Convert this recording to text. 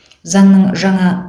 заңның жаңа